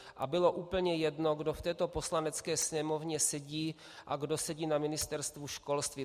A bylo úplně jedno, kdo v této Poslanecké sněmovně sedí a kdo sedí na Ministerstvu školství.